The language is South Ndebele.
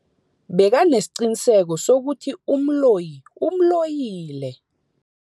Bekanesiqiniseko sokuthi umloyi umloyile.